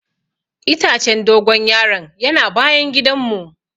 Itacen dogon yaro'n yana bayan gidan mu.